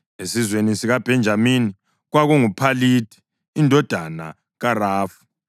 esizweni sikaBhenjamini, kwakunguPhalithi indodana kaRafu;